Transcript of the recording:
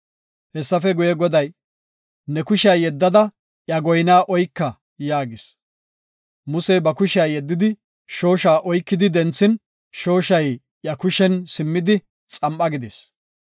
Hessafe guye, Goday, “Ne kushiya yeddada iya goyna oyka” yaagis. Musey ba kushiya yeddidi shoosha oyki denthin shooshay iya kushen simmidi, xam7a gidis.